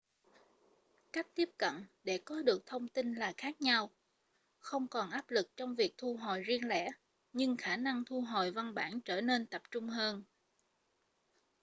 cách tiếp cận để có được thông tin là khác nhau không còn áp lực trong việc thu hồi riêng lẻ nhưng khả năng thu hồi văn bản trở nên tập trung hơn